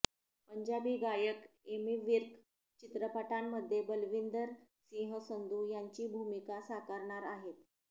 पंजाबी गायक एमि विर्क चित्रपटामध्ये बलविंदर सिंह संधू यांची भूमिका साकारणार आहेत